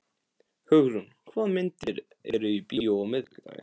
Hugrún, hvaða myndir eru í bíó á miðvikudaginn?